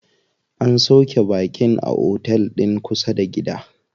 An sauƙe baƙin a otel din kusa da gida.